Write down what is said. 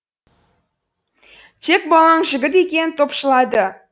тек балаң жігіт екенін топшылады